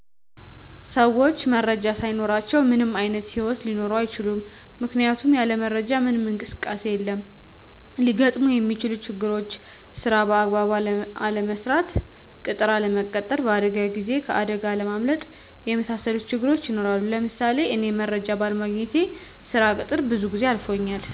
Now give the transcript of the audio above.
ሰዎች መረጃ ሳይኖራቸዉ ምንም አይነት ሂወት ሊኖሩ አይችሉም ምክንያቱም ያለ መረጃ ምንም እንቅስቃሴ የለም። ሊገጥሙ ሚችሉ ችግሮችም ስራ በአግባቡ አለምስራት፣ ቅጥር አለመቀጠር፣ በአደጋ ጊዜ ከአደጋ አለማምለጥ የመሣሠሉት ችግሮች ይኖራሉ። ለምሳሌ እኔ መረጃ ባለማግኘቴ ስራ ቅጥር ብዙ ጊዜ አልፎኛል።